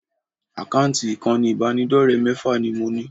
Àkáǹtì ìkànnì ìbánidọ́rẹ̀ẹ́ mẹ́fà ni mo ní